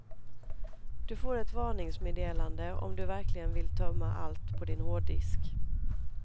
Du får ett varningsmeddelande om du verkligen vill tömma allt på din hårddisk.